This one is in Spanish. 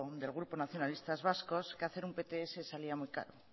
del grupo nacionalistas vascos que hacer un pts salía muy caro